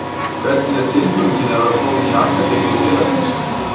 Hvernig er tilfinningin að vera kominn í akademíu félagsins?